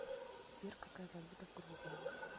сбер какая валюта в грузии